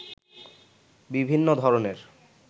বিভিন্ন ধরনের